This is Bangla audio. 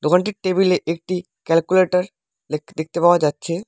দোকানটির টেবিল -এ একটি ক্যালকুলেটার দেখতে-দেখতে পাওয়া যাচ্ছে।